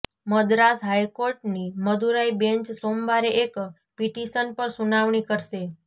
મદ્રાસ હાઈકોર્ટની મદુરાઈ બેન્ચ સોમવારે એક પિટિશન પર સુનાવણી કરશે